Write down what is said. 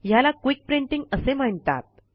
ह्याला quick printing असे म्हणतात